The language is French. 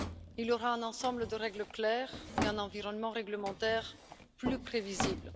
Il y aura un ensemble de règles claires et un environnement réglementaire plus prévisible.